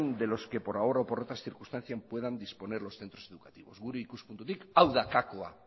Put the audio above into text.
de los que por ahorro o por otras circunstancias puedan disponer los centros educativos gure ikuspuntutik hau da kakoa